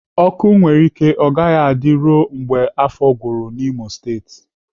Ọkụ nwere ike ọ gaghị adị ruo mgbe afọ gwụrụ n'Imo State